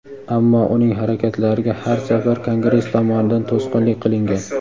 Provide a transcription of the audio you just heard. ammo uning harakatlariga har safar Kongress tomonidan to‘sqinlik qilingan.